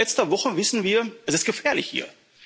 Denn seit letzter Woche wissen wir Es ist gefährlich hier.